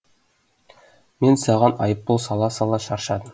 мен саған айыппұл сала сала шаршадым